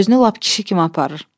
Özünü lap kişi kimi aparır.